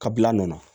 Kabila a nɔ na